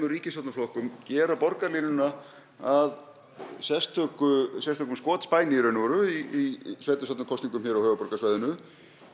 ríkisstjórnarflokkum gera borgarlínuna að sérstökum sérstökum skotspæni í raun og veru í sveitastjórnarkosningum á höfuðborgarsvæðinu